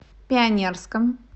пионерском